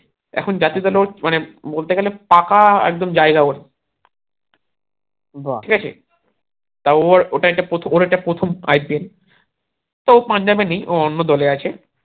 এখন জাতীয় দলে ওর মানে বলতে গেলে পাকা একদম জায়গা ওর তা ওর ওটা একটা প্রথম ওর এটা প্রথম IPL ও পাঞ্জাবে নেই ও অন্য যে আছে